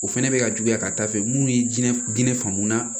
O fɛnɛ bɛ ka juguya ka taa fɛ munnu ye diɲɛ diɲɛ fan mun na